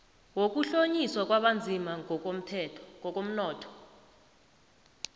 wokuhlonyiswa kwabanzima ngokomnotho